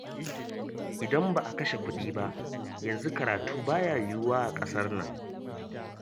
IDan ba a kashe kuɗi ba, yanzu karatu ba ya yiwuwa a ƙasar nan